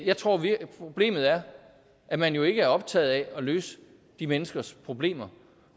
jeg tror problemet er at man jo ikke er optaget af at løse de menneskers problemer